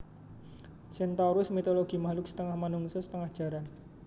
Centaurus mitologi makluk setengah manungsa setengah jaran